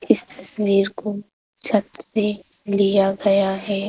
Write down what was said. इस तस्वीर को छत से लिया गया है।